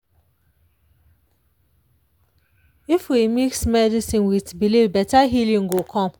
if we mix medicine with belief better healing go come.